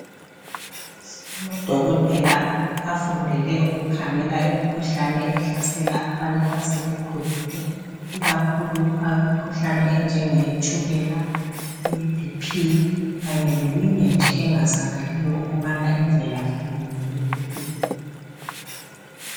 Amadokotela afundele ukukhangela imikhuhlane ehlasela abantu asebekhulile ikakhulu imikhuhlane enjenge tshukela, iBP kanye leminye nje engazakaliyo ukuba imvelaphi yayo yiyiphi.